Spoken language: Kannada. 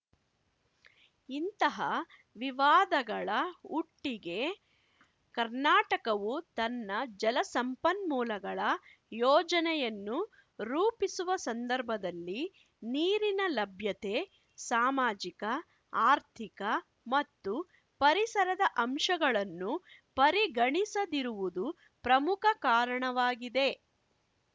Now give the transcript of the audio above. ಇಂತಹ ವಿವಾದಗಳ ಹುಟ್ಟಿಗೆ ಕರ್ನಾಟಕವು ತನ್ನ ಜಲ ಸಂಪನ್ಮೂಲಗಳ ಯೋಜನೆಯನ್ನು ರೂಪಿಸುವ ಸಂದರ್ಭದಲ್ಲಿ ನೀರಿನ ಲಭ್ಯತೆ ಸಾಮಾಜಿಕ ಆರ್ಥಿಕ ಮತ್ತು ಪರಿಸರದ ಅಂಶಗಳನ್ನು ಪರಿಗಣಿಸದಿರುವುದು ಪ್ರಮುಖ ಕಾರಣವಾಗಿದೆ